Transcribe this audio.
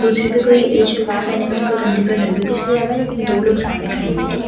दूसरी पे कोई ये सलवार पहने हुए हैं और कंधे पर उन्‍होंने भी कुछ लिया हुआ है लेकिन दो लोग सामने खड़े है ठीक है और --